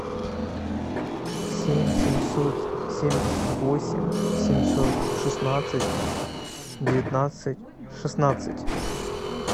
семь семьсот семьдесят восемь семьсот шестнадцать девятнадцать шестнадцать